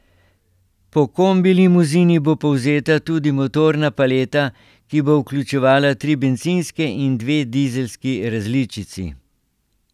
Po kombilimuzini bo povzeta tudi motorna paleta, ki bo vključevala tri bencinske in dve dizelski različici.